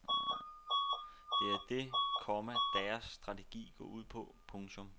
Det er det, komma deres strategi går ud på. punktum